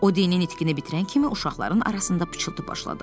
O dini nitqini bitirən kimi uşaqların arasında pıçıltı başladı.